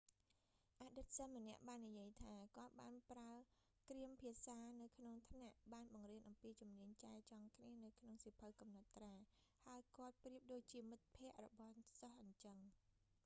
អតីតសិស្សម្នាក់បាននិយាយថា គាត់ បានប្រើគ្រាមភាសានៅក្នុងថ្នាក់ បានបង្រៀនអំពីជំនាញចែចង់គ្នានៅក្នុងសៀវភៅកំណត់ត្រា ហើយគាត់ប្រៀបដូចជាមិត្តភក្ដិរបស់សិស្សអីចឹង'